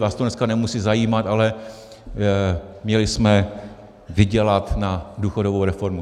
Vás to dneska nemusí zajímat, ale měli jsme vydělat na důchodovou reformu.